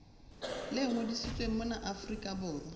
le ngodisitsweng mona afrika borwa